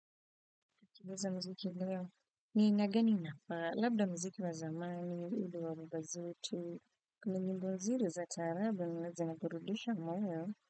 Kibuza mziki leo. Ni aina gani inafaa? Labda muziki wa zamani ile wa baba zetu. Kuna nyimbo zuri za taarabu ambazo zinaburudisha moyo,